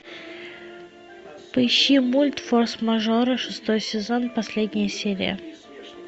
поищи мульт форс мажоры шестой сезон последняя серия